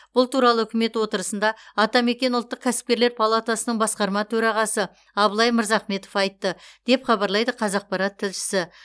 бұл туралы үкімет отырысында атамекен ұлттық кәсіпкерлер палатасының басқарма төрағасы абылай мырзахметов айтты деп хабарлайды қазақпарат тілшісі